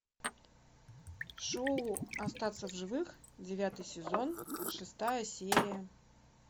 шоу остаться в живых девятый сезон шестая серия